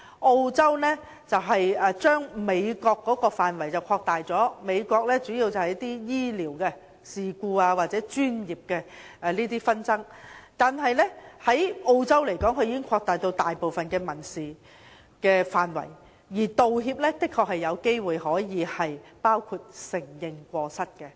澳洲將美國的範圍擴大，美國主要用在醫療事故或專業紛爭，而澳洲則擴大至大部分民事範圍，而道歉的確有機會包括承認過失。